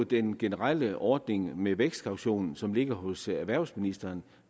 den generelle ordning med vækstkaution som ligger hos erhvervsministeren